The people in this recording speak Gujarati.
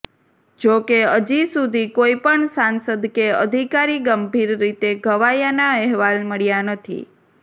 જોકે હજી સુધી કોઇપણ સાંસદ કે અધિકારી ગંભીર રીતે ઘવાયાના અહેવાલ મળ્યા નથી